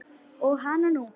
Og hananú!